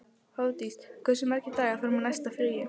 Hofdís, hversu margir dagar fram að næsta fríi?